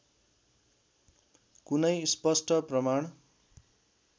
कुनै स्पष्ट प्रमाण